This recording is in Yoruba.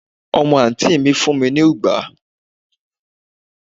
omo anti mi fún mi ni ugbà